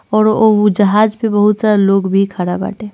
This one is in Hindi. और उ जाहज पे बहुत सारा लोग भी खाड़ा बाटे।